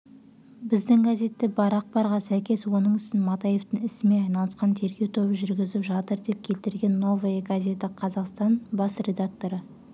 біздің газетте бар ақпарға сәйкес оның ісін матаевтың ісімен айналысқан тергеу тобы жүргізіп жатыр деп келтірген новая газета казахстан бас редакторы